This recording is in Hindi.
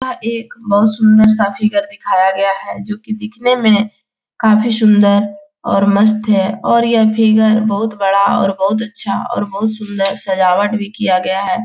आ एक बहुत सुन्दर-सा फिगर दिखाया गया है जो की देखने में काफी सुन्दर और मस्त हैऔर यह फिगर बहुत बड़ा और बहुत अच्छा और बहुत सुन्दर सजाबट भी किया गया है।